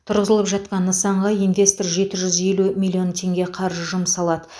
тұрғызылып жатқан нысанға инвестор жеті жүз елу миллион теңге қаржы жұмсамалады